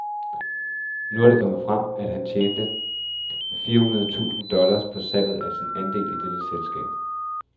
Nu er det kommet frem, at han har tjent fire hundrede tusind dollars på salget af sin andel i dette selskab.